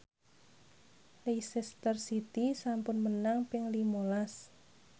Leicester City sampun menang ping lima las